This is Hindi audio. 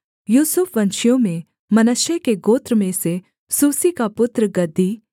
यूसुफ वंशियों में मनश्शे के गोत्र में से सूसी का पुत्र गद्दी